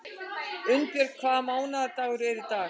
Unnbjörg, hvaða mánaðardagur er í dag?